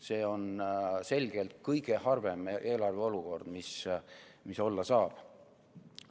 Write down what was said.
See on selgelt kõige halvem eelarve olukord, mis olla saab.